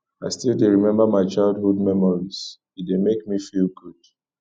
i still dey remember my childhood memories e dey make me feel good